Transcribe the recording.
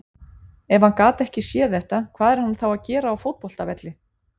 Ef hann gat ekki séð þetta, hvað er hann þá að gera á fótboltavelli?